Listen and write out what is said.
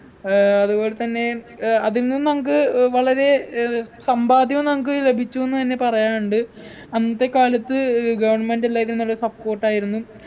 ഏർ അതുപോലെതന്നെ ഏർ അതിൽ നിന്നു നമുക്ക് ഏർ വളരെ ഏർ സമ്പാദ്യം നമുക്ക് ലഭിച്ചുന്ന് എന്നെ പറയാനുണ്ട് അന്നത്തെക്കാലത്ത് ഏർ government എല്ലായ്‌നും നല്ല support ആയിരുന്നു